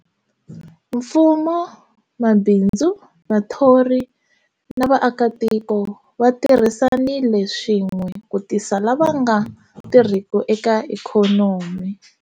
Mfumo, mabindzu, vathori na vaakatiko va tirhisanile swin'we ku tisa lava nga tirhiki eka ikhonomi.